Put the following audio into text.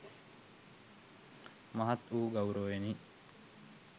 මහත් වූ ගෞරවයෙනි.